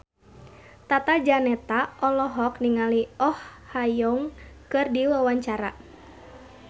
Tata Janeta olohok ningali Oh Ha Young keur diwawancara